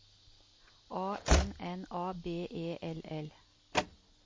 A N N A B E L L